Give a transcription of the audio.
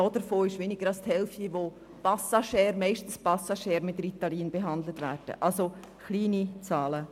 Davon wird weniger als die Hälfte mit Ritalin behandelt, und diese Behandlung erfolgt zumeist vorübergehend.